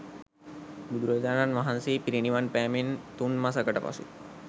බුදුරජාණන් වහන්සේ පිරිනිවන් පෑමෙන් තුන් මසකට පසු